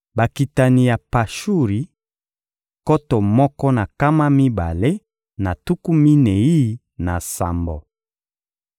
Bakitani ya Pashuri: nkoto moko na nkama mibale na tuku minei na sambo.